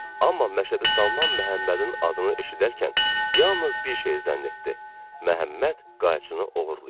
Amma Məşədi Salman Məhəmmədin adını eşidərkən yalnız bir şey zənn etdi: Məhəmməd qayçını oğurlayıb.